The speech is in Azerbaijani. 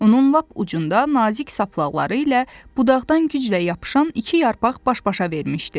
Onun lap ucunda nazik saplaqları ilə budaqdan güclə yapışan iki yarpaq baş-başa vermişdi.